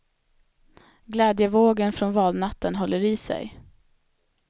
Glädjevågen från valnatten håller i sig.